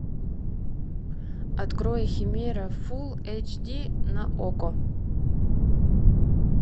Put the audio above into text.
открой химера фулл эйч ди на окко